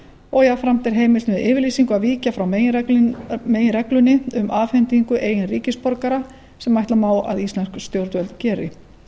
og jafnframt er heimilt með yfirlýsingu að víkja frá meginreglunni um afhendingu eigin ríkisborgara sem ætla má að íslensk stjórnvöld geri